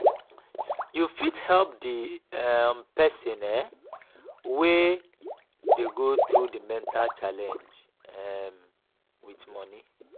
we fit help di um person um wey dey go through di mental challenege um with money